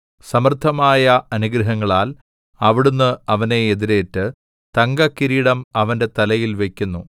സമൃദ്ധമായ അനുഗ്രഹങ്ങളാൽ അവിടുന്ന് അവനെ എതിരേറ്റ് തങ്കക്കിരീടം അവന്റെ തലയിൽ വയ്ക്കുന്നു